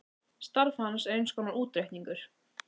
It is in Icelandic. Starf hans er eins konar útreikningur